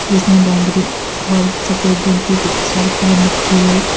जिसने बैगनी और सफेद रंग की शर्ट पहन रखी है।